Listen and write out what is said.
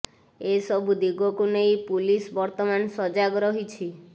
ଏ ସବୁ ଦିଗକୁ ନେଇ ପୁଲିସ ବର୍ତମାନ ସଜାଗ ରହିଛି